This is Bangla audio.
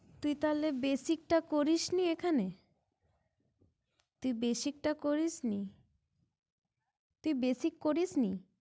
তুই তালে basic টা করিস নি এখানে তুই basic টা করিস নি তুই basic করিস নি